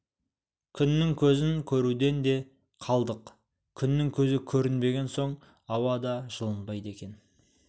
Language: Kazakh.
күннің көзін көруден де қалдық күннің көзі көрінбеген соң ауа да жылынбайды екен